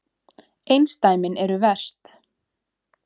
Einsdæmin eru verst.